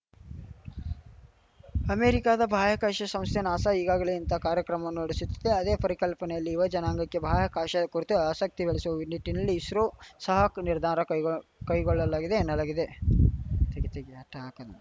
ಅಮೆರಿಕದ ಬಾಹ್ಯಾಕಾಶ ಶಂಸ್ಥೆ ನಾಸಾ ಈಗಾಗಲೇ ಇಂಥ ಕಾರ್ಯಕ್ರಮವನ್ನು ನಡೆಶುತ್ತಿದ್ದೆ ಅದೇ ಪರಿಕಲ್ಪನೆಯಲ್ಲಿ ಯುವ ಜನಾಂಗಕ್ಕೆ ಬಾಹ್ಯಾಕಾಶದ ಕುರಿತು ಆಸಕ್ತಿ ಬೆಳೆಸುವ ನಿಟ್ಟಿನಲ್ಲಿ ಇಸ್ರೋ ಸಹ ಈ ನಿರ್ಧಾರ ಕೈಗೊಳ್ಳಲಾಗಿದೆ ಎನ್ನಲಾಗಿದೆ ತೆಗಿ ತೆಗಿ ಅಟ್ಟ ಹಾಕೊಲ್ಲ